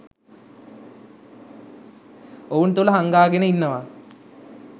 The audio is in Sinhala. ඔවුන් තුල හංගාගෙන ඉන්නවා.